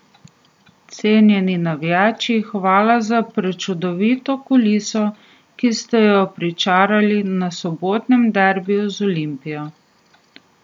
Cenjeni navijači, hvala za prečudovito kuliso, ki ste jo pričarali na sobotnem derbiju z Olimpijo.